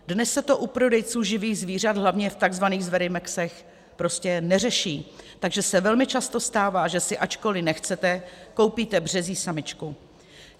Dnes se to u prodejců živých zvířat, hlavně v tzv. zverimexech, prostě neřeší, takže se velmi často stává, že si, ačkoliv nechcete, koupíte březí samičku.